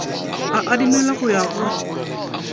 e adimelwa go ya go